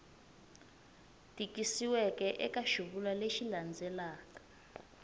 tikisiweke eka xivulwa lexi landzelaka